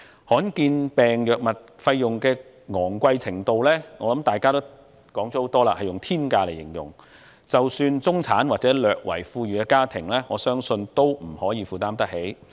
罕見疾病藥物費用的昂貴程度，大家已多次以"天價"一詞來形容，我相信即使中產或略為富裕的家庭也未必負擔得來。